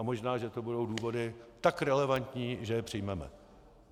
A možná že to budou důvody tak relevantní, že je přijmeme.